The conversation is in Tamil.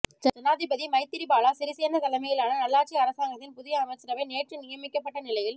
ஜனாதிபதி மைத்திரிபால சிறிசேன தலைமையிலான நல்லாட்சி அரசாங்கதின் புதிய அமைச்சரவை நேற்று நியமிக்கப்பட்ட நிலையில்